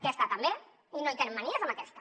aquesta també i no hi tenen manies amb aquesta